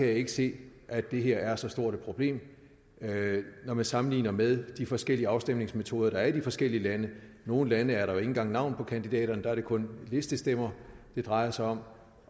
jeg ikke se at det her er så stort et problem når man sammenligner med de forskellige afstemningsmetoder der er i de forskellige lande nogle lande er der ikke engang navn på kandidaterne der er det kun listestemmer det drejer sig om